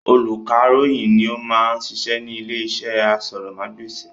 Olùkàròyìn ni ó ma ń sisẹ́ ní ilé iṣẹ́ asọ̀rọ̀mágbèsì